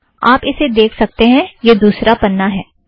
आप इसे देख सकतें हैं - यह दुसरा पन्ना है